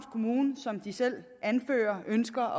kommune som de selv anfører ønsker